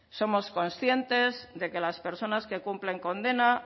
somos conscientes de que las personas que cumplen condena